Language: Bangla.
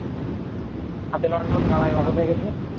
হাতে লণ্ঠন বাঁশ